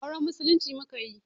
Auren musulunci mukayi